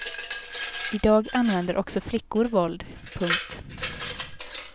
I dag använder också flickor våld. punkt